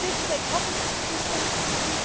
This is a public responsibility.